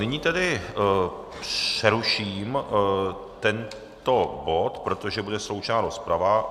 Nyní tedy přeruším tento bod, protože bude sloučená rozprava.